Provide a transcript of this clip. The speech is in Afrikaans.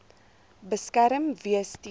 beskerm wees teen